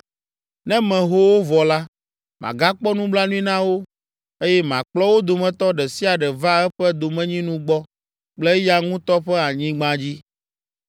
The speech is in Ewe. Ne meho wo vɔ la, magakpɔ nublanui na wo, eye makplɔ wo dometɔ ɖe sia ɖe va eƒe domenyinu gbɔ kple eya ŋutɔ ƒe anyigba dzi.